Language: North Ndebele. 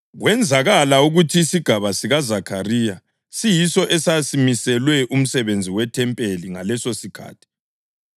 Kwenzakala ukuthi isigaba sikaZakhariya siyiso esasimiselwe umsebenzi wethempeli ngalesosikhathi,